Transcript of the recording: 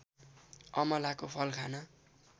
अमलाको फल खाना